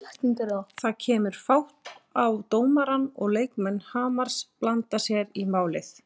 Það kemur fát á dómarann og leikmenn Hamars blanda sér í málið.